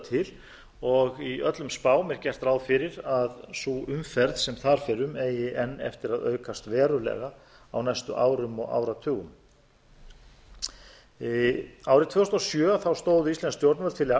til og í öllum spám er gert ráð fyrir að sú umferð sem þar fer um eigi enn eftir að aukast verulega á næstu árum og áratugum árið tvö þúsund og sjö stóðu íslensk stjórnvöld